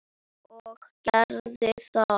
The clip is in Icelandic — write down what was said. Og geri það.